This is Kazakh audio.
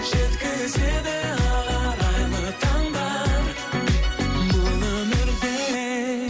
жеткізеді ақ арайлы таңдар бұл өмірде